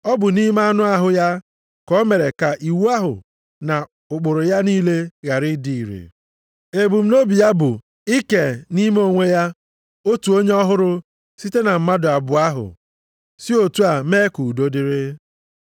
Ọ bụ nʼime anụ ahụ ya ka ọ mere ka iwu ahụ na ụkpụrụ ya niile ghara ịdị ire. Ebumnobi ya bụ i kee nʼime onwe ya otu onye ọhụrụ site na mmadụ abụọ ahụ, si otu a mee ka udo dịrị.